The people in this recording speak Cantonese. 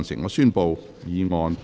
我宣布議案獲得通過。